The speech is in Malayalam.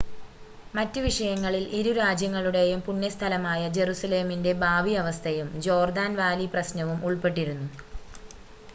മറ്റ് വിഷയങ്ങളിൽ ഇരു രാജ്യങ്ങളുടേയും പുണ്യ സ്ഥലമായ ജെറുസലേമിൻ്റെ ഭാവി അവസ്ഥയും ജോർദാൻ വാലി പ്രശ്‌നവും ഉൾപ്പെട്ടിരുന്നു